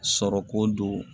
Sɔrɔko don